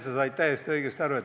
Sven, sa said täiesti õigesti aru.